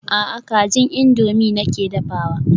A'a kajin indomie nake dafawa.